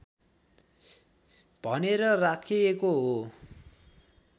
भनेर राखिएको हो